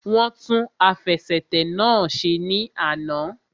Wọ́n tún àfẹsẹ̀tẹ̀ náà ṣe ní àná